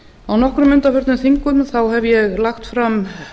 á nokkrum undanförnum þingum hef ég lagt fram